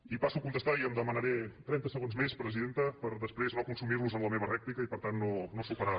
i passo a contestar i demanaré trenta segons més presidenta per després no consumir los en la meva rèplica i per tant no superar